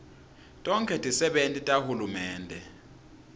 tonkhe tisebenti tahulumende